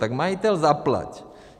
Tak majiteli, zaplať.